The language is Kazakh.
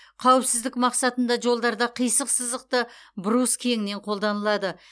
қауіпсіздік мақсатында жолдарда қисық сызықты брус кеңінен қолданылады